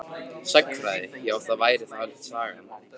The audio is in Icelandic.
Sagnfræði já það væri þá helst Sagan.